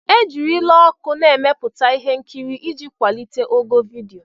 E jirila ọkụ na-emepụta ihe nkiri iji kwalite ogo vidiyo.